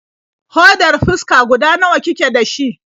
Hodar fuska guda nawa kike da shi?